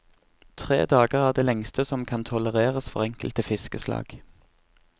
Tre dager er det lengste som kan tolereres for enkelte fiskeslag.